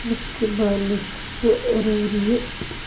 Miiskii baa la isku soo ururiyey